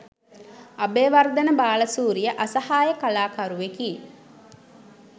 අබේවර්ධන බාලසූරිය අසහාය කලාකරුවෙකි